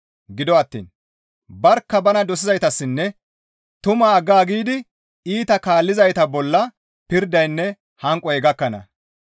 Gido attiin barkka bana dosizaytassinne tumaa aggaagidi iita kaallizayta bolla pirdaynne hanqoy gakkana.